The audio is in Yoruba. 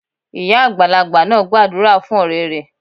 Ìyá àgbàlagbà náà gbàdúrà fún òré rẹ̀